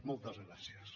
moltes gràcies